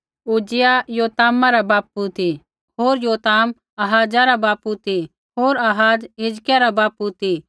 उज्जियाह योतामा रा बापू ती होर योताम आहाजा रा बापू ती होर आहाज हिजकिय्याहा रा बापू ती